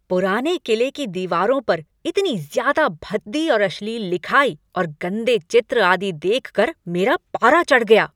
पुराने किले की दीवारों पर इतनी ज़्यादा भद्दी और अश्लील लिखाई और गंदे चित्र आदि देख कर मेरा पारा चढ़ गया।